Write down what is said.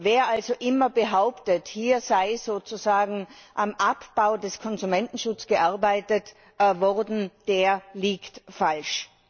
Wer also immer behauptet, hier sei sozusagen am Abbau des Konsumentenschutzes gearbeitet worden, der liegt falsch.